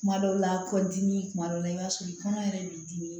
Kuma dɔw la kɔdimi kuma dɔ la i b'a sɔrɔ i kɔnɔ yɛrɛ b'i dimi